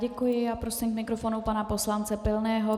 Děkuji a prosím k mikrofonu pana poslance Pilného.